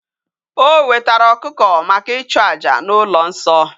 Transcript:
O wetara okuko maka ichu aja na ulo nso